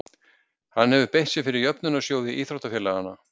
Hann hefur beitt sér fyrir jöfnunarsjóði íþróttafélaganna.